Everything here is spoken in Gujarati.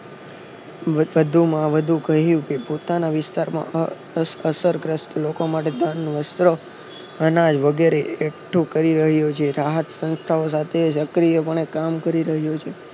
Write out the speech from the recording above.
વધુ માં વધુ કહ્યું કે પોતાના વિસ્તાર માં અસર ગ્રસ્ત લોકો માટે અનાજ વગેરે એકઠું કરી રહ્યો છે રાહત સંથથાઓ સાથે સક્રિય પાને કામ કરી રહ્યો છે